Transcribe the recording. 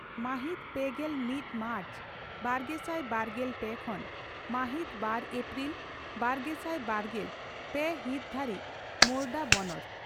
ᱢᱟᱦᱤᱛ ᱯᱮᱜᱮᱞ ᱢᱤᱛ ᱢᱟᱨᱪ ᱵᱟᱨᱜᱮᱥᱟᱭ ᱵᱟᱨᱜᱮᱞ ᱯᱮ ᱠᱷᱚᱱ ᱢᱟᱦᱤᱛ ᱵᱟᱨ ᱮᱯᱨᱤᱞ ᱵᱟᱨᱜᱮᱥᱟᱭ ᱵᱟᱨᱜᱮᱞ ᱯᱮ ᱦᱤᱛ ᱫᱷᱟᱹᱨᱤᱡ ᱢᱳᱨᱚᱰᱟ ᱵᱚᱱᱚᱛ